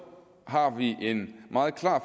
har vi en meget klar